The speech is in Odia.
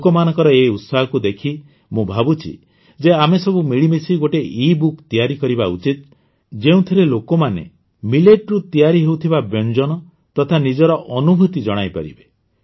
ଲୋକମାନଙ୍କର ଏହି ଉତ୍ସାହକୁ ଦେଖି ମୁଁ ଭାବୁଛି ଯେ ଆମେ ସବୁ ମିଳିମିଶି ଗୋଟିଏ ଇବୁକ୍ ତିଆରି କରିବା ଉଚିତ ଯେଉଁଥିରେ ଲୋକମାନେ Milletରୁ ତିଆରି ହେଉଥିବା ବ୍ୟଞ୍ଜନ ତଥା ନିଜର ଅନୁଭୂତି ଜଣାଇପାରିବେ